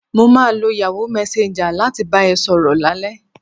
Mo máa lo Yahoo messenger láti bá ẹ sọ̀rọ̀ lálẹ́